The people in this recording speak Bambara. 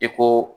I ko